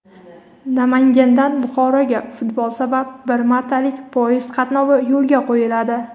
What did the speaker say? Namangandan Buxoroga futbol sabab bir martalik poyezd qatnovi yo‘lga qo‘yiladi.